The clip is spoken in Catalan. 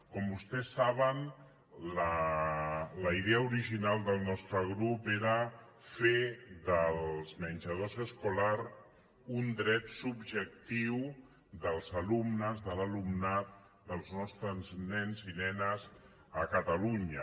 com vostès saben la idea original del nostre grup era fer dels menjadors escolars un dret subjectiu dels alumnes de l’alumnat dels nostres nens i nenes a ca·talunya